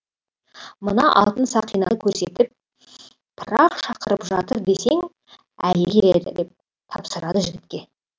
мына алтын сақинаны көрсетіп пырақ шақырып жатыр десең әйелі келеді деп тапсырады жігітке